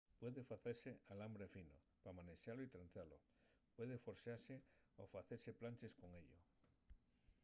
puede facese alambre fino pa manexalo y trenzalo puede forxase o facese planches con ello